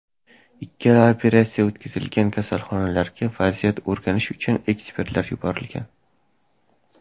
Ikkala operatsiya o‘tkazilgan kasalxonalarga vaziyatni o‘rganish uchun ekspertlar yuborilgan.